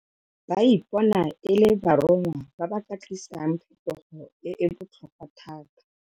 Ba ipona e le baronngwa ba ba ka tlisang phetogo e e botlhokwa thata.